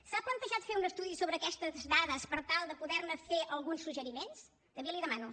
s’ha plantejat fer un estudi sobre aquestes dades per tal de poder ne fer alguns suggeriments també l’hi demano